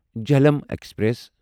Jhelum express